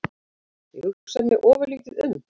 Ég hugsaði mig ofurlítið um.